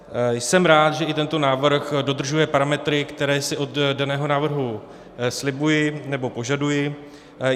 Jsem i rád, že tento návrh dodržuje parametry, které si od daného návrhu slibuji nebo požaduji.